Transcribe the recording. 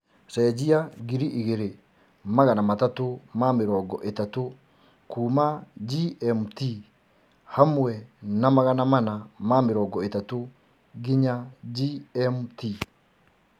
cenjĩa ngiriĩgĩrĩ magana matatu ma mĩrongo itatu kũma g.m.t hamwe na magana mana ma mĩrongo itatu nginya g.m.t